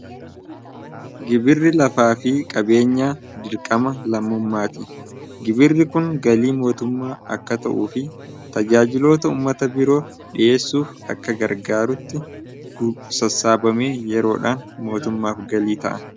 gibirri lafaa fi qabeenyaa dirqama lammummaa ti gibirri kun galii mootummaa akka ta'uu fi tajaajiloota ummata biroo dhiheessuuf akka gargaarutti gusassaabame yeroodhaan mootummaaf galii ta'a